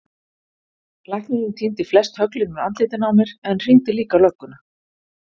Læknirinn tíndi flest höglin úr andlitinu á mér en hringdi líka á lögguna.